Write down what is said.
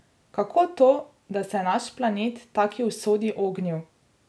Kako to, da se je naš planet taki usodi ognil?